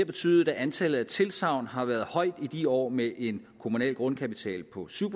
betydet at antallet af tilsagn har været højt i årene med en kommunal grundkapital på syv